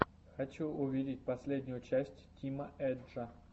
хочу увидеть последнюю часть тима эджа